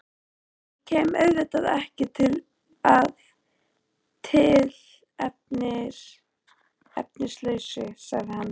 Ég kem auðvitað ekki að tilefnislausu, sagði hann.